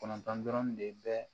Kɔnɔntɔn dɔrɔn de bɛ